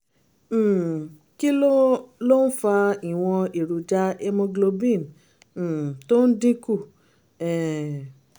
um kí ló ló ń fa ìwọ̀n èròjà hemoglobin um tó ń dín kù? um